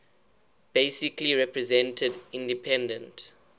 basically represented independent